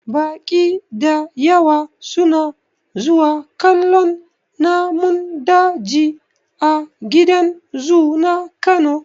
Baƙi dayawa su na zuwa kallon namun daji a gidan zu na kano.